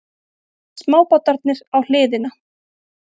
Smábátarnir á hliðina.